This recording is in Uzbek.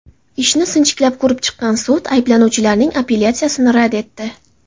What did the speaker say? Ishni sinchiklab ko‘rib chiqqan sud ayblanuvchilarning apellyatsiyasini rad etdi.